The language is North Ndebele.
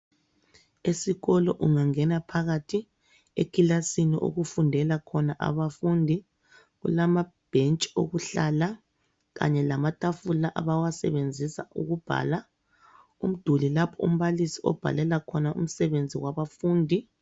Esikolo ungangena phakathi ekilasini okufundela khona abafundi kulamabhentshi okuhlala kanye lamatafula abawasebenzisa ukubhala, umduli lapho umbalisi obhalela khona umsebenzi wabafundi.